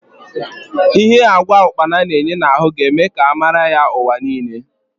Because of the nutritional value of locust beans it may gain global recognition